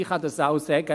Ich kann auch sagen: